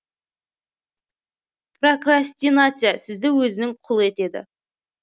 прокрастинация сізді өзінің құлы етеді